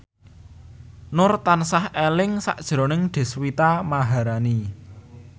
Nur tansah eling sakjroning Deswita Maharani